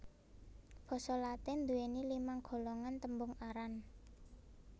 Basa Latin nduwèni limang golongan tembung aran